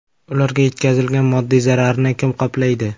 Ularga yetkazilgan moddiy zararni kim qoplaydi?